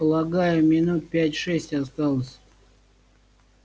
полагаю минут пять-шесть осталось